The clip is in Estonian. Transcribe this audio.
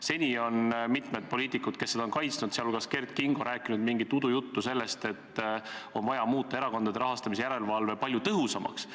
Seni on mitmed poliitikud, kes seda on kaitsnud, sh Kert Kingo, rääkinud mingit udujuttu sellest, et on vaja muuta erakondade rahastamise järelevalve palju tõhusamaks.